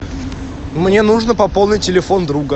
мне нужно пополнить телефон друга